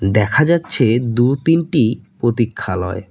দেখা যাচ্ছে দু তিনটি প্রতীক্ষালয়।